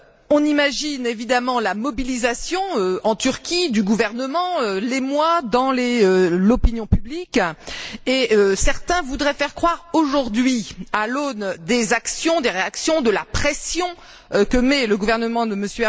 On imagine évidemment la mobilisation, en Turquie, du gouvernement, l'émoi dans l'opinion publique, et certains voudraient faire croire aujourd'hui, à l'aune des actions, des réactions, de la pression que met le gouvernement de M.